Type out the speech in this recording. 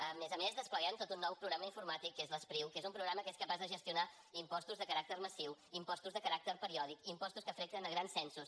a més a més despleguem tot un nou programa informàtic que és l’espriu que és un programa que és capaç de gestionar impostos de caràcter massiu impostos de caràcter periòdic impostos que afecten a grans censos